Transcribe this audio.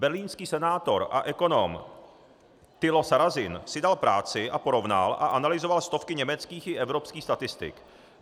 Berlínský senátor a ekonom Thilo Sarrazin si dal práci a porovnal a analyzoval stovky německých i evropských statistik.